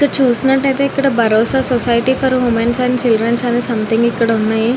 ఇక్కడ చునట్టుఏఇతి ఇక్కడ society for womens and childrens అని సమ్థింగ్ ఇక్కడ ఉన్నాయి.